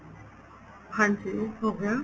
ਹਾਂਜੀ ਹੋ ਗਿਆ